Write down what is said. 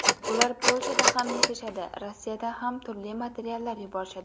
Ular Polshada ham yashashadi, Rossiyadan ham turli materiallar yuborishadi.